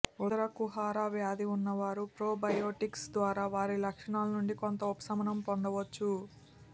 ఉదరకుహర వ్యాధి ఉన్నవారు ప్రోబయోటిక్స్ ద్వారా వారి లక్షణాల నుండి కొంత ఉపశమనం పొందవచ్చు